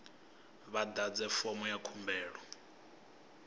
vha ḓadze fomo ya khumbelo